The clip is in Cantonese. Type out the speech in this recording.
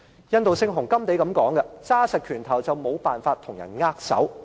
印度聖雄甘地曾經說過："緊握拳頭便無法與別人握手"。